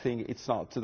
I think it's not.